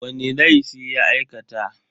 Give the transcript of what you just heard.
Wani laifi ya aikata?